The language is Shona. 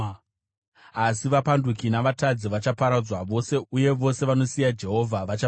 Asi vapanduki navatadzi vachaparadzwa vose, uye vose vanosiya Jehovha vachaparara.